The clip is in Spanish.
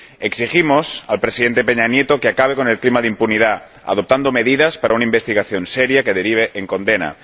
exigimos al Presidente Peña Nieto que acabe con el clima de impunidad, adoptando medidas para una investigación seria que derive en condena